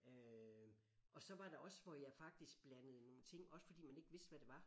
Øh og så var der også hvor jeg faktisk blandede nogle ting også fordi man ikke vidste hvad det var